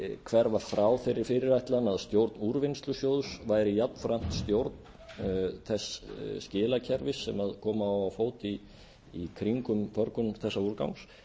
hverfa frá þeirri fyrirætlan að stjórn úrvinnslusjóðs væri jafnframt stjórn þess skilakerfis sem koma á á fót í kringum förgun þessa úrgangs